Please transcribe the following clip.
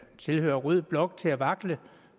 tilhører rød blok til at vakle